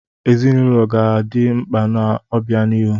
Ezinụlọ ga na-adị mkpa n'obianihu.